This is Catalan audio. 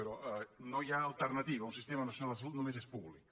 però no hi ha alternativa un sistema nacional de salut només és públic